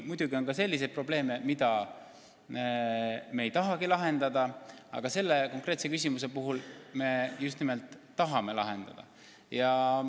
Muidugi on ka selliseid probleeme, mida me ei tahagi lahendada, aga seda konkreetset küsimust me just nimelt tahame lahendada.